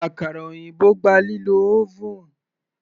Àkàrà òyìnbó gba lílo oven.